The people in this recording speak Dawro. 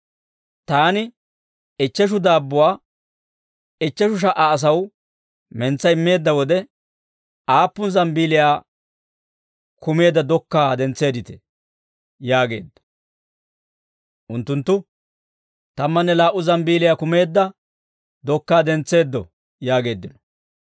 Taani ichcheshu daabbuwaa ichcheshu sha"a asaw mentsa immeedda wode, aappun zambbeeliyaa kumeedda dokkaa dentseedditee?» yaageedda. Unttunttu, «Tammanne laa"u zambbeeliyaa kumeedda dokkaa dentseeddo» yaageeddino.